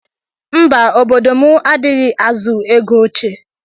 mba obodo mụ adighizi azụ ego oche.